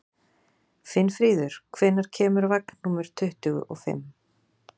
Finnfríður, hvenær kemur vagn númer tuttugu og fimm?